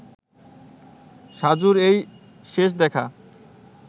সাজুর এই শেষ দেখা